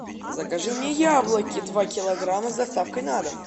закажи мне яблоки два килограмма с доставкой на дом